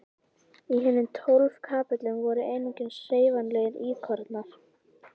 Í hinum tólf kapellunum voru einungis hreyfanlegir íkonar.